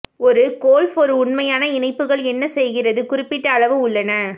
ஒரு கோல்ஃப் ஒரு உண்மையான இணைப்புகள் என்ன செய்கிறது குறிப்பிட்ட அளவு உள்ளன